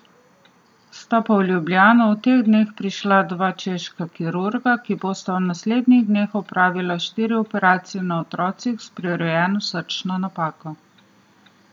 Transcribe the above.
Sta pa v Ljubljano v teh dneh prišla dva češka kirurga, ki bosta v naslednjih dneh opravila štiri operacije na otrocih s prirojeno srčno napako.